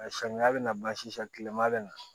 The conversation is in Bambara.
Samiya bɛ na bansi san kilema bɛna na